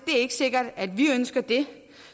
er sikkert at vi ønsker det